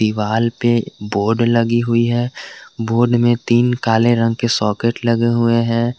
Wall पे board लगी हुई है बोर्ड में तीन काले रंग के सॉकेट लगे हुए हैं।